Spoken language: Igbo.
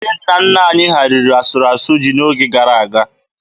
Ndị nna nna anyị ha riri asụrụ asụ ji n'oge gara aga.